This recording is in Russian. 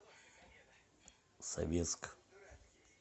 советск